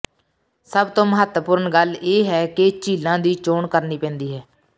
ਸਭ ਤੋਂ ਮਹੱਤਵਪੂਰਣ ਗੱਲ ਇਹ ਹੈ ਕਿ ਝੀਲਾਂ ਦੀ ਚੋਣ ਕਰਨੀ ਪੈਂਦੀ ਹੈ